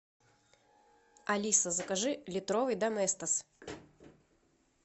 алиса закажи литровый доместос